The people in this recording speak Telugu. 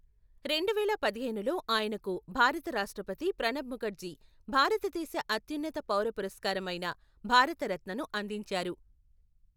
రెండు వేల పదిహేనులో, ఆయనకు భారత రాష్ట్రపతి ప్రణబ్ ముఖర్జీ భారతదేశ అత్యున్నత పౌర పురస్కారమైన భారతరత్నను అందించారు.